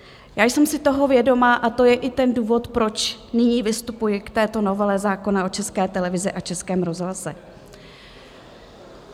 Já jsem si toho vědoma a to je i ten důvod, proč nyní vystupuji k této novele zákona o České televizi a Českém rozhlase.